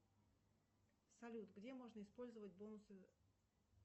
салют где можно использовать бонусы